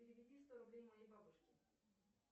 переведи сто рублей моей бабушке